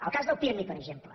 el cas del pirmi per exemple